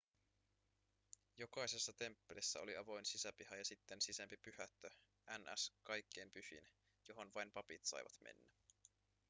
jokaisessa temppelissä oli avoin sisäpiha ja sitten sisempi pyhättö ns kaikkein pyhin johon vain papit saivat mennä